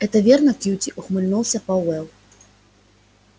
это верно кьюти ухмыльнулся пауэлл